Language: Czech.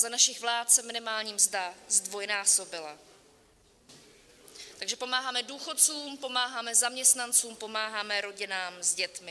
Za našich vlád se minimální mzda zdvojnásobila, takže pomáháme důchodcům, pomáháme zaměstnancům, pomáháme rodinám s dětmi.